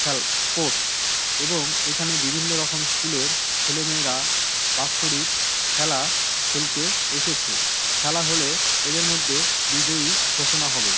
Sport এবং এখানে বিভিন্ন রকম স্কুল এর ছেলেমেয়েরা বাৎষরিক খেলা খেলতে এসেছে। খেলা হলে এদের মধ্যে বিজয়ী ঘোষণা হবে।